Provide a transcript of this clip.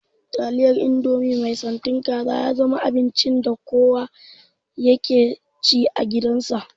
Taliyar indomie mai santin kaza ya zama abinci da kowa yake ci a gidan sa